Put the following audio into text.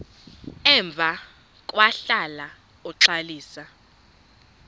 emva kwahlala uxalisa